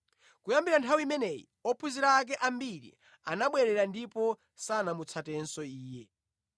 Kuyambira nthawi imeneyi ophunzira ake ambiri anabwerera ndipo sanamutsatenso Iye.